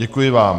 Děkuji vám.